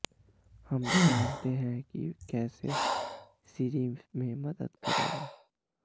हम जानते हैं कि कैसे सिरी में मदद करेगा